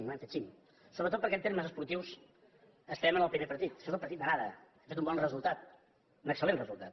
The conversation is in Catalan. no hem fet el cim sobretot perquè en termes esportius estem en el primer partit això és el partit d’anada hem fet un bon resultat un excel·lent resultat